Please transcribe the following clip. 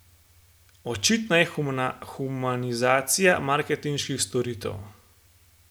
Očitna je humanizacija marketinških storitev.